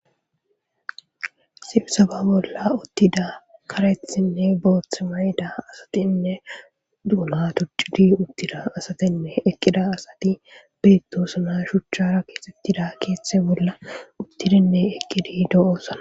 Sibi sababolla uttida karethinne boothth may7da asatinne duuna tuttidi uttida asatinne eqqida asati beettosna shuchchara keesettida keeththe bolla uttidinne eqqidi do7oosana.